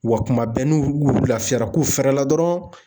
Wa kuma bɛɛ n'olu olu lafiyara k'u fɛrɛ la dɔrɔn